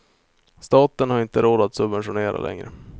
Staten har inte råd att subventionera längre.